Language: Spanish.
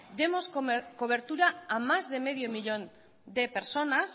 demos cobertura a más de medio millón de personas